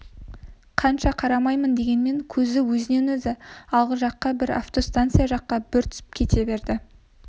қанша қарамайын дегенмен көзі өзінен-өзі алғы жаққа бір автостанция жаққа бір түсіп кете берді